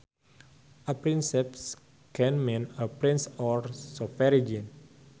A princeps can mean a prince or sovereign